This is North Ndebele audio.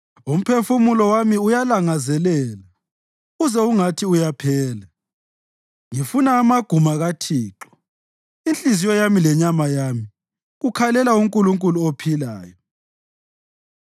Umphefumulo wami uyalangazela, uze ungathi uyaphela, ngifuna amaguma kaThixo; inhliziyo yami lenyama yami kukhalela uNkulunkulu ophilayo.